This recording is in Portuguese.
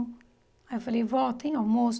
Aí eu falei, vó, tem almoço?